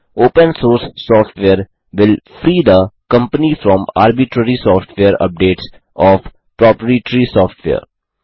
open source software will free the company from arbitrary software updates of proprietary software